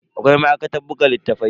Akwai ma'aikatar buga littattafai.